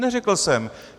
Neřekl jsem.